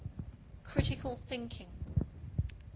critical thinking